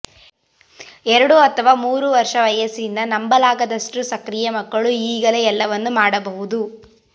ಎರಡು ಅಥವಾ ಮೂರು ವರ್ಷ ವಯಸ್ಸಿನ ನಂಬಲಾಗದಷ್ಟು ಸಕ್ರಿಯ ಮಕ್ಕಳು ಈಗಾಗಲೇ ಎಲ್ಲವನ್ನೂ ಮಾಡಬಹುದು